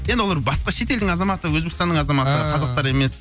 енді олар басқа шет елдің азаматы өзбекстанның азаматы ааа қазақтар емес